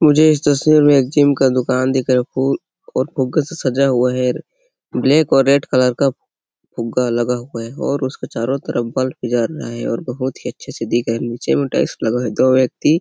मुझे। इस तस्वीर में एक जिम का दुकान दिख रहा है फूल और फुग्गो से सजा हुआ है ब्लैक और रेड कलर का फुग्गा लगा हुआ है और उसे और उसके चारों तरफ बल्ब जल रहा है और बहुत ही अच्छे से दिख रहा है नीचे टाइल्स लगा हुआ है दो व्यक्ति--